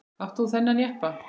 Átt þú þennan jeppa?